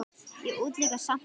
Ég útiloka samt aldrei neitt.